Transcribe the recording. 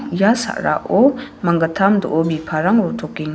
ia sa·rao manggittam do·o biparang rotokeng--